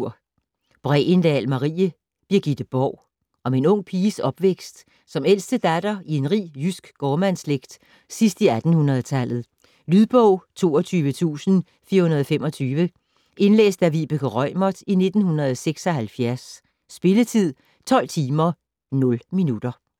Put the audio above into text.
Bregendahl, Marie: Birgitte Borg Om en ung piges opvækst som ældste datter i en rig jysk gårdmandsslægt sidst i 1800-tallet. Lydbog 22425 Indlæst af Vibeke Reumert, 1976. Spilletid: 12 timer, 0 minutter.